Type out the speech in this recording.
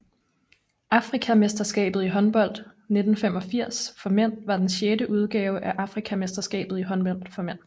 Afrikamesterskabet i håndbold 1985 for mænd var den sjette udgave af Afrikamesterskabet i håndbold for mænd